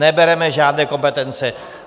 Nebereme žádné kompetence.